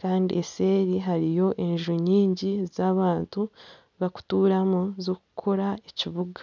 Kandi eseeri hariyo enju nyingi z'abantu bakuturamu zikukora ekibuga.